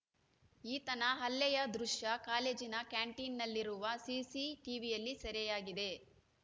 ಈತನ ಹಲ್ಲೆಯ ದೃಶ್ಯ ಕಾಲೇಜಿನ ಕ್ಯಾಂಟೀನ್‌ನಲ್ಲಿರುವ ಸಿಸಿ ಟಿವಿಯಲ್ಲಿ ಸೆರೆಯಾಗಿದೆ